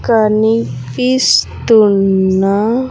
కనిపిస్తున్న--